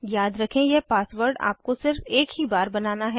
याद रखें यह पासवर्ड आपको सिर्फ एक बार ही बनाना है